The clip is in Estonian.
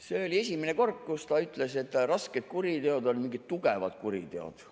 See oli esimene kord, kui ta ütles, et rasked kuriteod on mingid tugevad kuriteod.